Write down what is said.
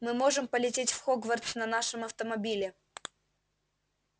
мы можем полететь в хогвартс на нашем автомобиле